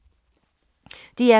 DR K